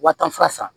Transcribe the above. Wa tan fura san